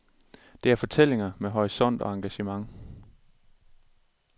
Det er fortællinger med horisont og engagement.